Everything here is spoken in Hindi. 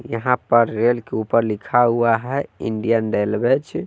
यहां पर रेल के ऊपर लिखा हुआ है इंडियन रेलवे छे--